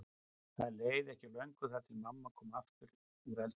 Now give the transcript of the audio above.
Það leið ekki á löngu þar til mamma kom aftur úr eldhúsinu.